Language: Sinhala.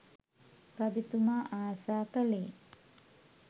රජතුමා ආසා කළේ